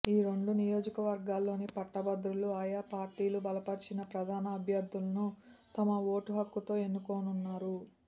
ఈ రెండు నియోజకవర్గాల్లోని పట్టభద్రులు ఆయా పార్టీలు బలపరిచిన ప్రధాన అభ్యర్థులను తమ ఓటు హక్కుతో ఎన్నుకోనున్నారు